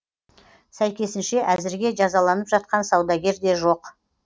сәйкесінше әзірге жазаланып жатқан саудагер де жоқ